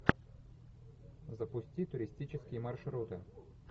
запусти туристические маршруты